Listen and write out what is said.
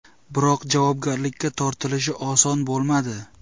Biroq javobgarlikka tortilishi oson bo‘lmadi.